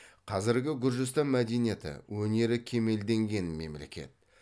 қазіргі гүржістан мәдениеті өнері кемелденген мемлекет